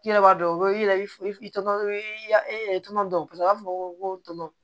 I yɛrɛ b'a dɔn i yɛrɛ bi i tɔgɔ i ya e yɛrɛ tɔnɔnɔ dɔn paseke u b'a fɔ ko tɔn